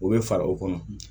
O bɛ fara o kɔnɔ